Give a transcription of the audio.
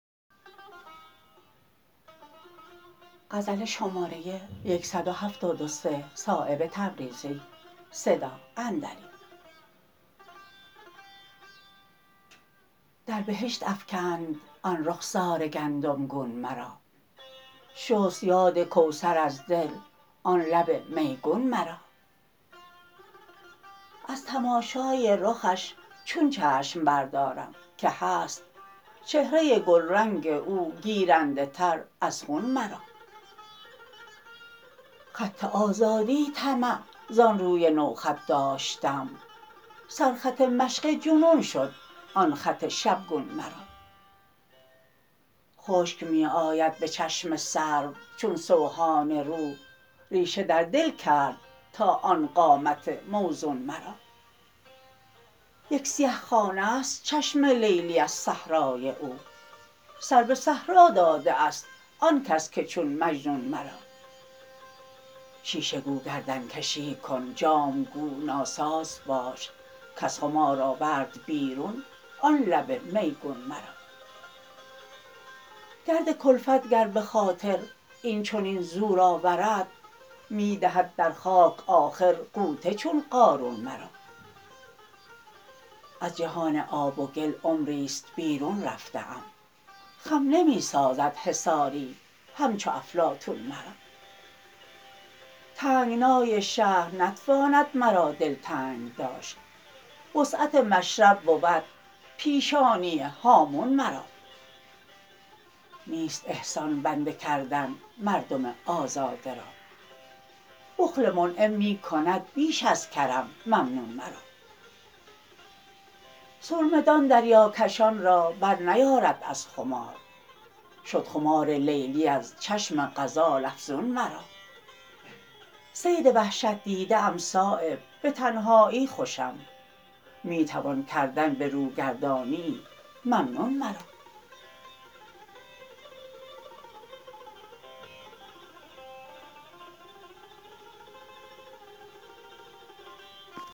در بهشت افکند آن رخسار گندم گون مرا شست یاد کوثر از دل آن لب میگون مرا از تماشای رخش چون چشم بردارم که هست چهره گلرنگ او گیرنده تر از خون مرا خط آزادی طمع زان روی نوخط داشتم سرخط مشق جنون شد آن خط شبگون مرا خشک می آید به چشم سرو چون سوهان روح ریشه در دل کرد تا آن قامت موزون مرا یک سیه خانه است چشم لیلی از صحرای او سر به صحرا داده است آن کس که چون مجنون مرا شیشه گو گردنکشی کن جام گو ناساز باش کز خمار آورد بیرون آن لب میگون مرا گرد کلفت گر به خاطر این چنین زور آورد می دهد در خاک آخر غوطه چون قارون مرا از جهان آب و گل عمری است بیرون رفته ام خم نمی سازد حصاری همچو افلاطون مرا تنگنای شهر نتواند مرا دلتنگ داشت وسعت مشرب بود پیشانی هامون مرا نیست احسان بنده کردن مردم آزاده را بخل منعم می کند بیش از کرم ممنون مرا سرمه دان دریاکشان را برنیارد از خمار شد خمار لیلی از چشم غزال افزون مرا صید وحشت دیده ام صایب به تنهایی خوشم می توان کردن به رو گرداندنی ممنون مرا